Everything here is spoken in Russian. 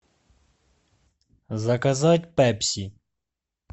заказать пепси